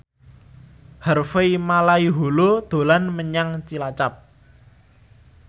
Harvey Malaiholo dolan menyang Cilacap